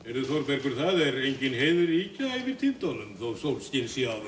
Þórbergur það er engin heiðríkja yfir tindunum þó sólskin sé á